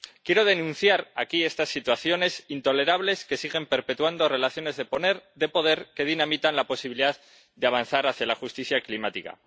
Quiero denunciar aquí estas situaciones intolerables que siguen perpetuando relaciones de poder que dinamitan la posibilidad de avanzar hacia la justicia climática.